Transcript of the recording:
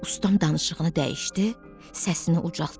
Ustam danışığını dəyişdi, səsini ucaltdı.